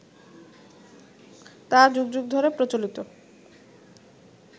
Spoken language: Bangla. তা যুগ যুগ ধরে প্রচলিত